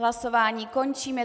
Hlasování končím.